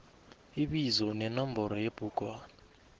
ibizo nenomboro yebhugwana